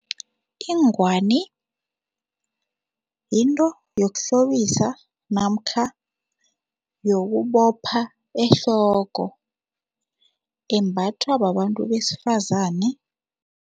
Ingwani yinto yokuhlobisa namkha yokubopha ehloko embathwa babantu besifazane.